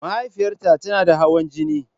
Mahaifiyarta tana da hawan jini.